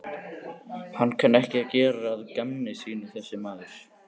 Hann kann ekki að gera að gamni sínu þessi maður.